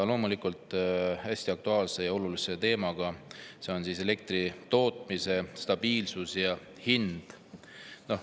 Loomulikult on see hästi aktuaalsel ja olulisel teemal: elektritootmise stabiilsus ja hind.